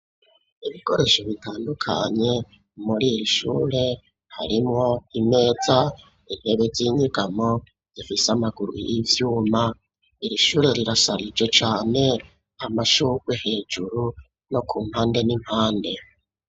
Ibikoresho bitandukanye, muri iri shure, harimwo imeza, intebe z'inyegamo, zifise amaguru y'ivyuma; iri shure, rirasharije cane; amashurwe hejuru, no ku mpande n'impande.